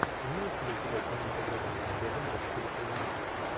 имеется ли у тебя кинематографическая лента в стиле криминал